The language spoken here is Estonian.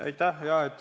Aitäh!